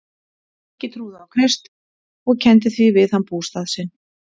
Helgi trúði á Krist og kenndi því við hann bústað sinn.